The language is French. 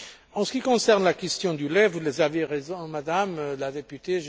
En ce qui concerne la question du lait, vous avez raison, Madame la députée.